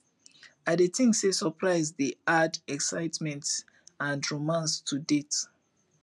i dey think say surprise dey add excitement and romance to dates